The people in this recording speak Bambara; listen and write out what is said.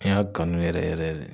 An y'a kanu yɛrɛ yɛrɛ de.